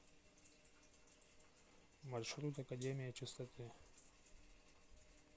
маршрут академия чистоты